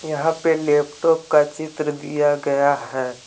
यहां पे लैपटॉप का चित्र दिया गया है।